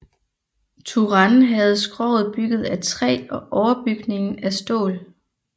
Turenne havde skroget bygget af træ og overbygningen af stål